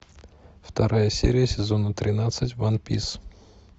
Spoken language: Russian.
вторая серия сезона тринадцать ван пис